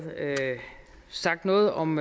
sagt noget om